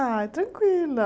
Ah, tranquila.